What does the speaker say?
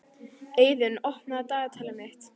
Eiðunn, opnaðu dagatalið mitt.